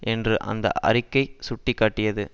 என்று அந்த அறிக்கை சுட்டி காட்டியது